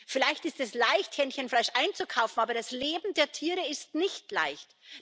Vielleicht ist es leicht, Hähnchenfleisch einzukaufen, aber das Leben der Tiere ist nicht leicht.